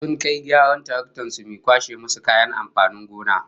Sun kai gyaran taraktar su mai kwashe musu kayan amfanin gona